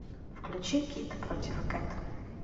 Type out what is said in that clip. включи кид против кэт